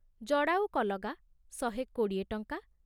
ଜଡ଼ାଉ କଲଗା ଶହେ କୋଡ଼ିଏ ଟଙ୍କା